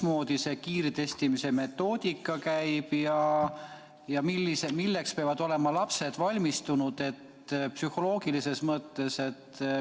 Milline see kiirtestimise metoodika on ja milleks peavad lapsed psühholoogilises mõttes valmis olema?